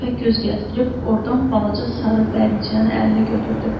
Rəfə göz gəzdirib ordan balaca sarı bərniçəni əlinə götürdü.